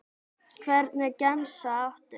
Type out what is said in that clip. Hvernig gemsa áttu?